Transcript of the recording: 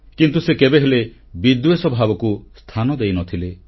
କିନ୍ତୁ ସେ କେବେହେଲେ ବିଦ୍ୱେଷ ଭାବକୁ ସ୍ଥାନ ଦେଇନଥିଲେ